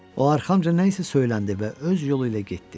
O arxamca nə isə söyləndi və öz yolu ilə getdi.